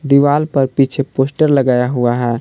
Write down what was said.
दीवाल पर पीछे पोस्टर लगाया हुआ है।